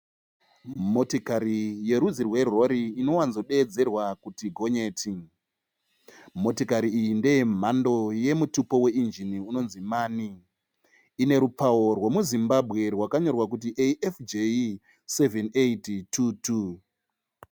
Motikari yerudzi rwerori inowanzodeedzerwa kuti gonyeti, motikari iyi ndeye mhando yemutupo weinjini unonzi mani, ine rupawo rwe muZimbabwe rwakanyorwa kuti AFJ 7822.